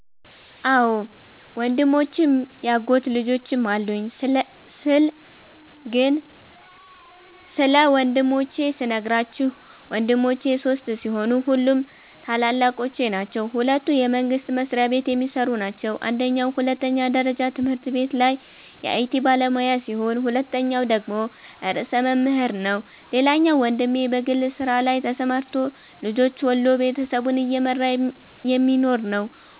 አዎ ወንድሞችም ያጎት ልጆችም አሉኝ ስለ ግን ስለ ወንድሞቼ ስነግራችሁ ወንድሞቼ ሶስት ሲሆኑ ሁሉም ታላላቆቼ ናቸዉ ሁለቱ የመንግስት መስሪያቤት የሚሰሩ ናቸው አንደኛዉ ሁለተኛ ደረጃ ትምህርት ቤት ላይ የአይቲ ባለሙያ ሲሆን ሁለተኛዉ ደግሞ ርዕሰ መምህር ነዉ ሌላኛዉ ወንድሜ በግል ስራ ላይ ተሰማርቶ ልጆች ወልዶ ቤተሰቡን እየመራ የሚኖር ነዉ።